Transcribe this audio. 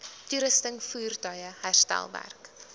toerusting voertuie herstelwerk